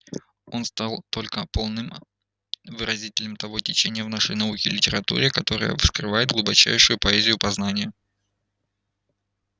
он стал только полным выразителем того течения в нашей науке и литературе которое вскрывает глубочайшую поэзию познания